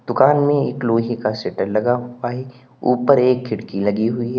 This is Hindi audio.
दुकान में एक लोहे का शटर लगा हुआ है ऊपर एक खिड़की लगी हुई है।